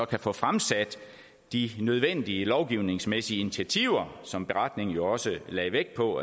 kan få fremsat de nødvendige lovgivningsmæssige initiativer som beretningen jo også lagde vægt på